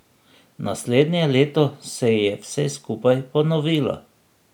Naslednje leto se je vse skupaj ponovilo.